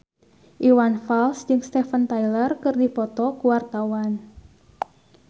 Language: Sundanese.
Iwan Fals jeung Steven Tyler keur dipoto ku wartawan